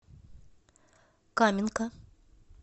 каменка